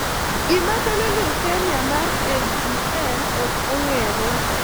Gima kelo leukemia mar LGL ok ong'ere.